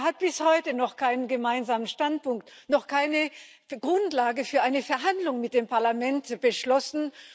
Er hat bis heute noch keinen gemeinsamen Standpunkt, noch keine Grundlage für eine Verhandlung mit dem Parlament beschlossen.